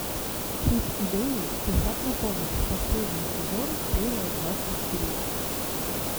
чип и дейл спешат на помощь последний сезон серия двадцать три